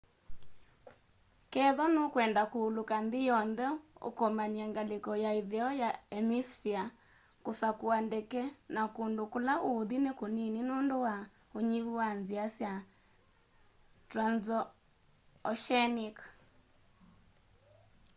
kethwa nukwenda kuuluka nthi yonthe ukomany'e ngaliko ya itheo ya hemisphere kusakua ndeke na kundu kula uuthi ni kunini nundu wa unyivu wa nzia sya transoceanic